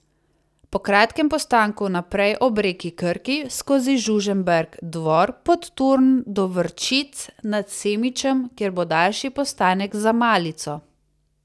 Po kratkem postanku naprej ob reki Krki skozi Žužemberk, Dvor, Podturn do Vrčic nad Semičem, kjer bo daljši postanek za malico.